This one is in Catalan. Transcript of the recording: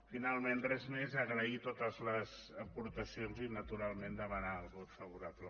finalment res més agrair totes les aportacions i naturalment demanar el vot favorable